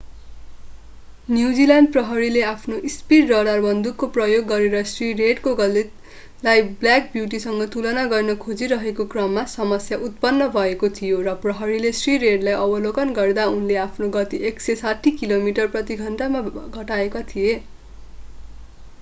New Zealand प्रहरीले आफ्नो speed radar बन्दुकको प्रयोग गरेर श्री रेडको गतिलाई ब्ल्याक ब्यूटीसँग तुलना गर्न खोजिरहेको क्रममा समस्या उत्पन्न भएको थियो र प्रहरीले श्री रेडलाई अवलोकन गर्दा उनले आफ्नो गति 160 किमि प्रति घण्टामा घटाएका थिए